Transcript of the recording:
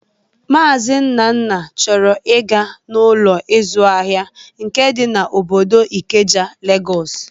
Maazi Nnanna chọrọ ị ga n'Ụlọ ịzụ ahịa nke dị n'obodo Ikeja, Legọs